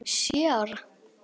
Sjö ára.